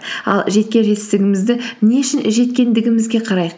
ал жеткен жетістігімізді не үшін жеткендігімізге қарайық